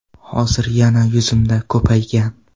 Hozir yana yuzimda ko‘paygan.